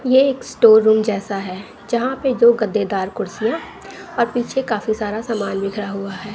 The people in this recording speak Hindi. ये एक स्टोर रूम जैसा है यहां पे दो गद्देदार कुर्सियां और पीछे काफी सारा समान बिखरा हुआ है।